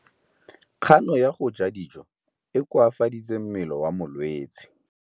Kganô ya go ja dijo e koafaditse mmele wa molwetse.